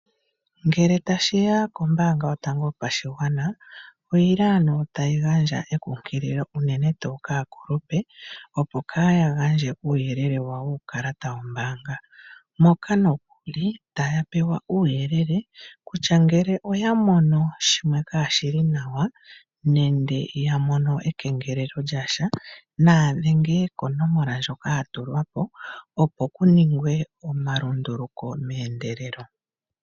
Ngele tashi ya kombaanga yotango yopashigwana oyi li ano tayi gandja ekunkililo unene tuu kaakuupe, opo kaa ya gandje uuyelele wawo wuukalata wombaanga. Moka nokuli taya pewa uuyelele kutya ngele oya mono shimwe kaashi li nawa nenge ya mono ekengelelo lya sha naya dhenge konomola ndjoka ya tulwa po, opo ku ningwe omalunduluko meendelelo.